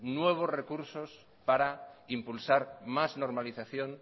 nuevos recursos para impulsar más normalización